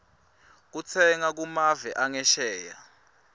kutsenga kumave angesheya